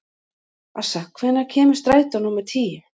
Assa, hvenær kemur strætó númer tíu?